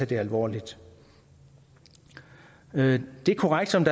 det alvorligt det er korrekt som